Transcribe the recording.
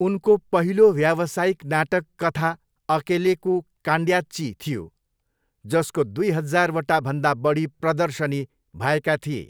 उनको पहिलो व्यावसायिक नाटक कथा अकेलेको कान्ड्याची थियो, जसको दुई हजारवटा भन्दा बढी प्रदर्शनी भएका थिए।